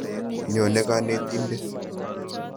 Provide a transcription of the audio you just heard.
Nyone kanetindet.